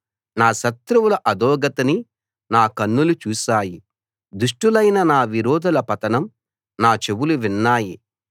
నా శత్రువుల అధోగతిని నా కన్నులు చూశాయి దుష్టులైన నా విరోధుల పతనం నా చెవులు విన్నాయి